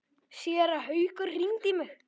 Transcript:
Séra Haukur hringdi í mig.